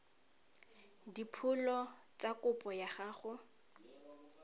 dipholo tsa kopo ya gago